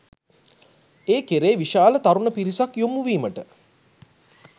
ඒ කෙරේ විශාල තරුණ පිරිසක් යොමුවීමට